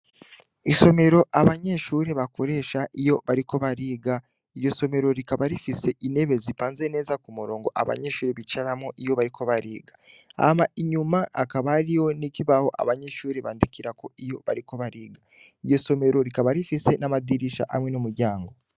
Isomero abanyeshure bakoresha iyo bariko bariga, iryo somero rikaba rifise intebe zipanze neza kumurongo abanyeshure bicaramwo iyo bariko bariga. Hama inyuma hakaba hariho ikibaho abanyeshure bandikirako iyo bariko bariga. Iryo somero rikaba rifise n’amadirisha hamwe n’umuryango.